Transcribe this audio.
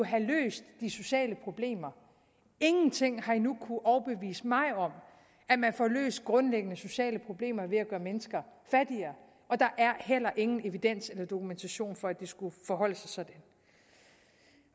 have løst de sociale problemer ingenting har endnu kunnet overbevise mig om at man får løst grundlæggende sociale problemer ved at gøre mennesker fattigere og der er heller ingen evidens eller dokumentation for at det skulle forholde sig sådan